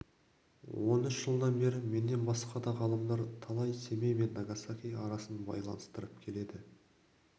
он үш жылдан бері менен басқа да талай ғалымдар семей мен нагасаки арасын байланыстырып келеді